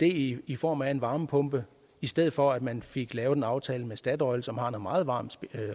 i i form af varmepumper i stedet for at man fik lavet en aftale med statoil som har noget meget varmt